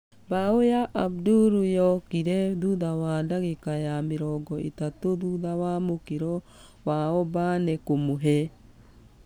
Bao ya abdul yokire thutha wa dagĩka ya mĩrongo ĩtatũ thutha wa mũkĩro wa obane kũmũhe ......